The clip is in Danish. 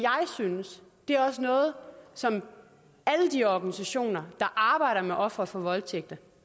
synes det er også noget som alle de organisationer der arbejder med ofre for voldtægt